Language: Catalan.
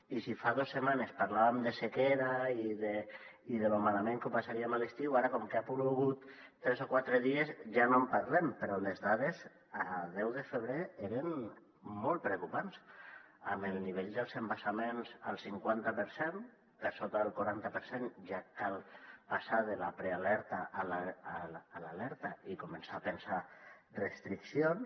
i si fa dos setmanes parlàvem de sequera i de lo malament que ho passaríem a l’estiu ara com que ha plogut tres o quatre dies ja no en parlem però les dades el deu de febrer eren molt preocupants amb el nivell dels embassaments al cinquanta per cent per sota del quaranta per cent ja cal passar de la prealerta a l’alerta i començar a pensar en restriccions